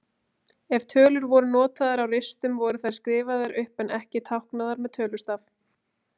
Ef tölur voru notaðar á ristum voru þær skrifaðar upp en ekki táknaðar með tölustaf.